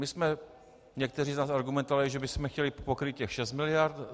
My jsme někteří na to argumentovali, že bychom chtěli pokrýt těch šest miliard.